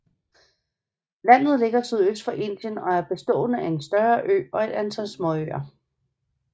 Landet ligger sydøst for Indien og er bestående af en større ø og et antal småøer